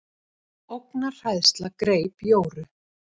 Ógnarhræðsla greip Jóru.